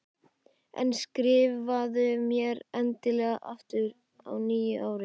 En skrifaðu mér endilega aftur á nýju ári.